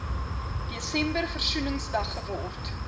desember versoeningsdag geword